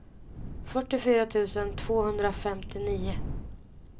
fyrtiofyra tusen tvåhundrafemtionio